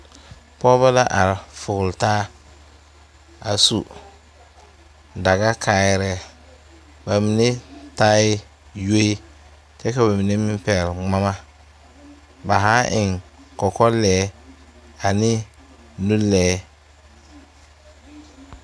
Pɔɔbɔ la are kɔge taa a su daga kaayɛrɛɛ ba mine taai yoe kyɛ ka ba mine meŋ pɛgle ngmama ba haa eŋ kɔkɔ lɛɛ ane nu lɛɛ.